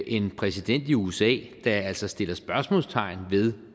en præsident i usa der altså sætter spørgsmålstegn ved